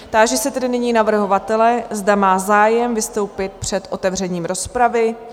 Táži se tedy nyní navrhovatele, zda má zájem vystoupit před otevřením rozpravy?